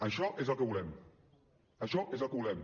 això és el que volem això és el que volem